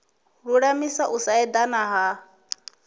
lulamisa u sa edana ha